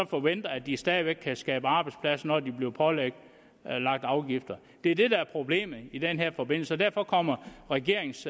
forvente at de stadig væk kan skabe arbejdspladser når de bliver pålagt afgifter det er det der er problemet i den her forbindelse og derfor kommer regeringens